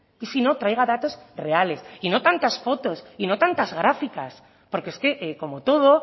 y si no traiga datos reales y no tantas fotos y no tantas gráficas porque es que como todo